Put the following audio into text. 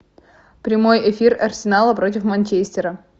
прямой эфир арсенала против манчестера